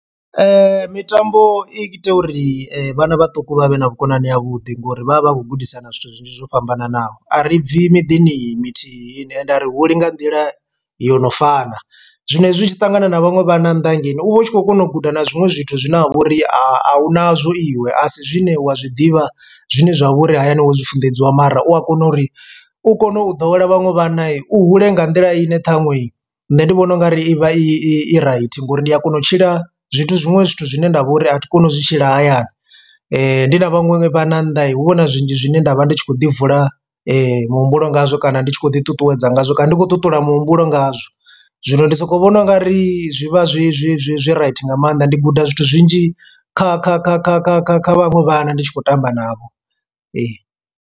Mitambo i ita uri vhana vhaṱuku vha vhe na vhukonani ha vhuḓi ngori vha vha vha khou gudisana zwithu zwinzhi zwo fhambananaho a ri bvi miḓini iyi mithihi ni ende a ri huli nga nḓila yo no fana zwino hezwi u tshi ṱangana na vhaṅwe vhana nnḓa hangeini uvha u tshi khou kona u guda na zwiṅwe zwithu zwine ha vha uri a huna zwo iwe a si zwine wa zwiḓivha zwine zwa vhori hayani wo zwi funḓedziwa mara u a kona uri u kone u ḓowela vhaṅwe vhana u hule nga nḓila i ne ṱhaṅwe nṋe ndi vhona ungari ivha i right ngori ndi a kona u tshila zwithu zwiṅwe zwithu zwine ndavha uri a thi koni u zwi tshila hayani. Ndi na vhaṅwe vhana nnḓa hu vha huna zwinzhi zwine nda vha ndi tshi khou ḓi vula muhumbulo ngazwo kana ndi tshi khou ḓi ṱuṱuwedza ngazwo kana ndi khou ṱuṱula muhumbulo ngazwo, zwino ndi soko vhona u nga ri zwi vha zwi zwi zwi zwi right nga maanḓa ndi guda zwithu zwinzhi kha kha kha kha kha kha kha vhaṅwe vhana ndi tshi khou tamba navho ee.